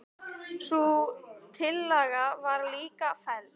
Sú tillaga var líka felld.